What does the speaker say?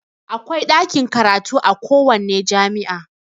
Akwai ɗakin karatu a kowanne jami'a